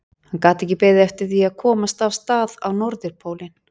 Hann gat ekki beðið eftir því að komast af stað á Norðupólinn.